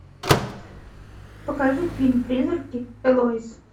покажи фильм призраки элоиз